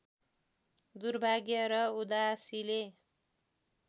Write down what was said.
दुर्भाग्य र उदासीले